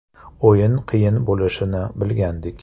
O‘yin qiyin bo‘lishini bilgandik.